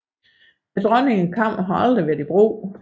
Dronningekammeret har aldrig været i brug